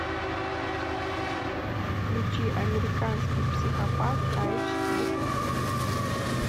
включи американский психопат айч ди